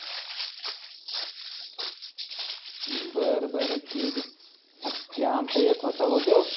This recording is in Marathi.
बरं बरं ठिक आहे. आत ते आमचा एक होता भो त्यो.